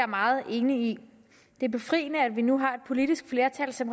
meget enig i det er befriende at vi nu har et politisk flertal som